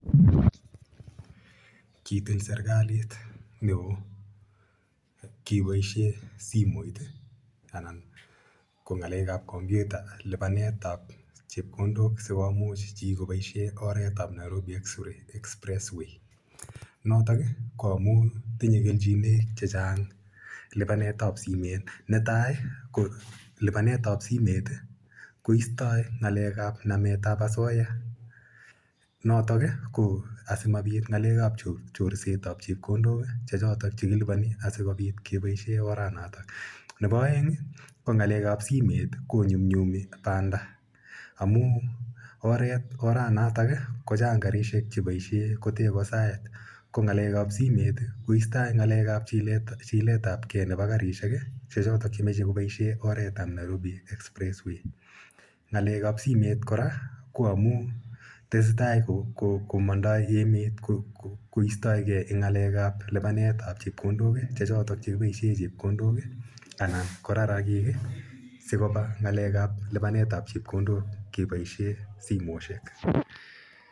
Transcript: Kitil serikalit ne oo kepaishe simet anan ko ng'alek ap kompyuta, lipanet ap chepkondok si komuch chi kopaishe oret ap Nairobi expressway. Notok ko amu tinye kelchinaik che chang' lipanetap simet. Ne tai ko lipanet ap simet koistai ng'alek ap nametap asoya notok ko asimapit ng'alek ap chorset ap chepkondok che chotok che kilipani asikopit kopaishe oranotok. Nepo aeng' ko ng'alek ap simet ko nyum nyumi panda amu oret, oranatak, ko chang' karishek che paishe ko te ko saet. Ko ng'alek ap simet i, koistai ng'alek ap chiletapgei nepo karishek che chotok che mache kopaishe oret ap Nairobi Expressway. Ng'alek ap simet kora ko amu tese tai ko mandai emet koistaige eng' ng'alek ap lipanet ap chepkondok che chotok kipaishe chepkondok anan ko rarakiik si kopa lipanet ap chepkondok kepaishe simoshek.